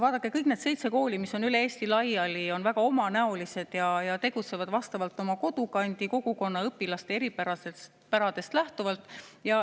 Vaadake, kõik need seitse kooli, mis on üle Eesti laiali, on väga omanäolised ja tegutsevad oma kodukandi kogukonna õpilaste eripäradest lähtuvalt.